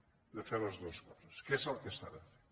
hem de fer les dues coses que és el que s’ha de fer